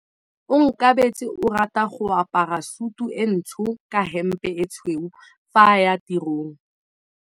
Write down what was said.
Onkabetse o rata go apara sutu e ntsho ka hempe e tshweu fa a ya tirong.